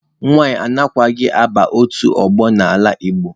Nwanyị anaghịkwa aba otu ọgbọ n'ala Igbo.